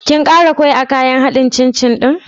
Kin ƙara ƙwai a kayan haɗin cin cin ɗin?